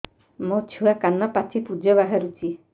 ମୋ ଛୁଆ କାନ ପାଚି ପୂଜ ବାହାରୁଚି